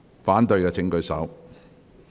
反對的請舉手。